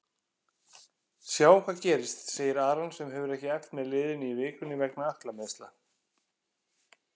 Sjáum hvað gerist, segir Aron sem hefur ekki æft með liðinu í vikunni vegna ökklameiðsla.